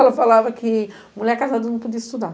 Ela falava que mulher casada não podia estudar.